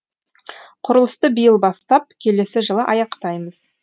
құрылысты биыл бастап келесі жылы аяқтаймыз